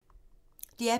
DR P2